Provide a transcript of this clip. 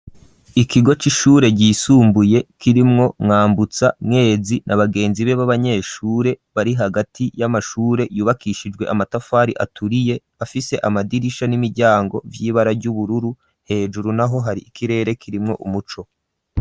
Ikigo c'ishure ryisumbuye kirimwo nwambutsa mwezi na bagenzi be baba nyeshure bari hagati y'amashure yubakishijwe amatafari aturiye afise amadirisha n'imiryango vy'ibara ry'ubururu hejuru naho hari ikirere kirimwo umuco.